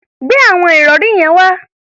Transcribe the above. Gbe àwọn ìrọ̀rí yẹn wá!